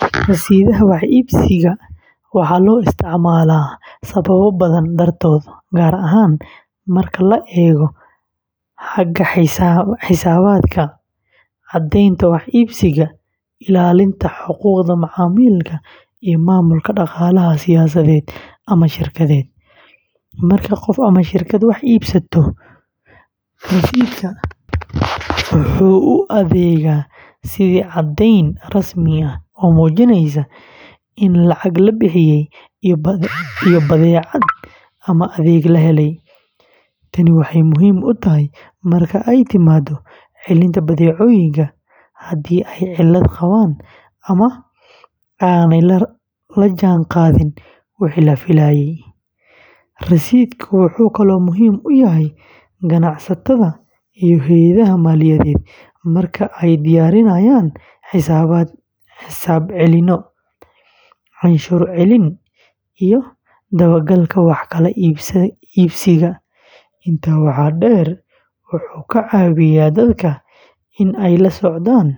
Rasiidhada wax iibsiga waxaa loo isticmaalaa sababo badan dartood, gaar ahaan marka la eego xagga xisaabaadka, caddaynta wax iibsiga, ilaalinta xuquuqda macaamilka, iyo maamulka dhaqaalaha shaqsiyeed ama shirkadeed. Marka qof ama shirkad wax iibsato, rasiidhku wuxuu u adeegaa sidii caddayn rasmi ah oo muujinaysa in lacag la bixiyey iyo badeecad ama adeeg la helay. Tani waxay muhiim u tahay marka ay timaado celinta badeecooyinka, haddii ay cilad qabaan ama aanay la jaanqaadin wixii la filayey. Rasiidhka wuxuu kaloo muhiim u yahay ganacsatada iyo hay’adaha maaliyadeed marka ay diyaarinayaan xisaab celinyo, canshuur celin, iyo dabagalka wax kala iibsiga. Intaa waxaa dheer, wuxuu ka caawiyaa dadka in ay la socdaan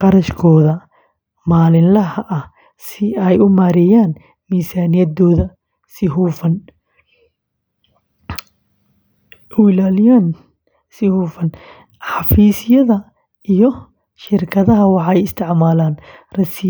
kharashkooda maalinlaha ah si ay u maareeyaan miisaaniyaddooda si hufan. Xafiisyada iyo shirkadaha waxay isticmaalaan rasiidhada.